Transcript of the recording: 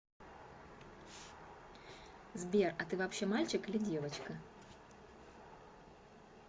сбер а ты вообще мальчик или девочка